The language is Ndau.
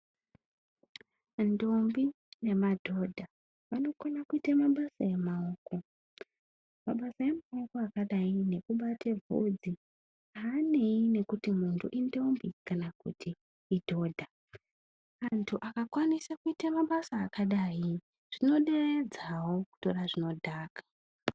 Ndombi nemadhodha vanokona kuite mabasa emaoko. Mabasa emaoko akadayi nekubate vhudzi haaneyi nekuti muntu indombi kana kuti idhodha. Antu akakwanise kuite mabasa akadai, zvinoderedzawo kutora zvinodhaka.